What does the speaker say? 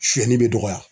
Sɛnni bɛ dɔgɔya